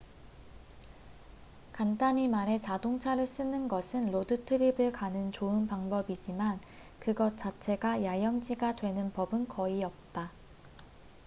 간단히 말해 자동차를 쓰는 것은 로드 트립을 가는 좋은 방법이지만 그것 자체가 야영지가 되는 법은 거의 없다